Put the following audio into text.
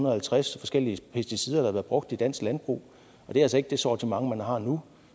og halvtreds forskellige pesticider der har været brugt i dansk landbrug det er altså ikke det sortiment man har nu